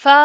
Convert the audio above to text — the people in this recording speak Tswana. Fa